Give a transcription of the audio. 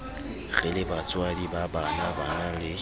re lebatswadi ba banabana le